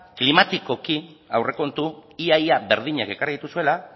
klimatikoki aurrekontu ia ia berdinak ekarri dituzuela